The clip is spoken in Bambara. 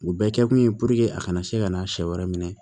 U bɛɛ kɛkun ye puruke a kana se ka na sɛ wɛrɛ minɛ